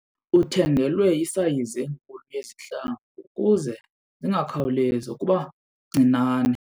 Uthengelwe isayizi enkulu yezihlangu ukuze zingakhawulezi ukuba ncinane.